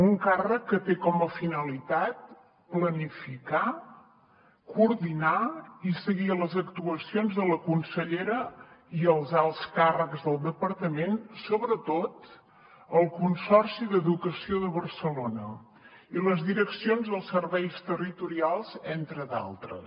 un càrrec que té com a finalitat planificar coordinar i seguir les actuacions de la consellera i els alts càrrecs del departament sobretot el consorci d’educació de barcelona i les direccions dels serveis territorials entre d’altres